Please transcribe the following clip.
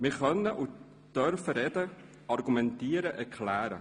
Wir können und dürfen reden, argumentieren und erklären.